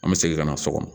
An bɛ segin ka na so kɔnɔ